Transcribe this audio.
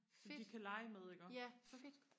fedt ja fedt